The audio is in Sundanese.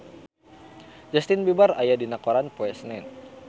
Justin Beiber aya dina koran poe Senen